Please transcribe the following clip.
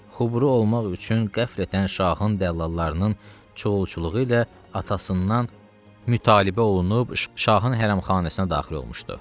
Xubru olmaq üçün qəflətən şahın dəllallarının çuğulçuluğu ilə atasından mütalibə olunub şahın hərəmxanasına daxil olmuşdu.